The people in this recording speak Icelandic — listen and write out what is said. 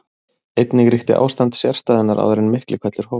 Einnig ríkti ástand sérstæðunnar áður en Miklihvellur hófst.